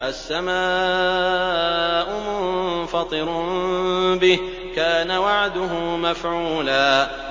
السَّمَاءُ مُنفَطِرٌ بِهِ ۚ كَانَ وَعْدُهُ مَفْعُولًا